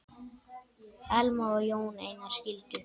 Elma og Jón Einar skildu.